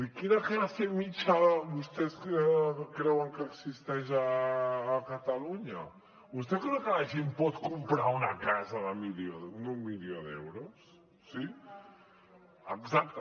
quina classe mitjana vostès creuen que existeix a catalunya vostè creu que la gent pot comprar una casa d’un milió d’euros sí exacte